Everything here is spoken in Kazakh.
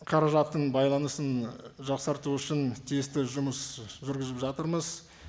қаражаттың байланысын жақсарту үшін тиісті жұмыс жүргізіп жатырмыз